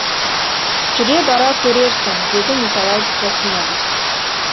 жүре бара көрерсің деді николай трофимович